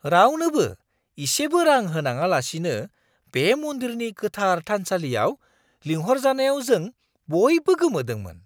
रावनोबो इसेबो रां होनाङालासिनो बे मन्दिरनि गोथार थानसालियाव लिंहरजानायाव जों बयबो गोमोदोंमोन!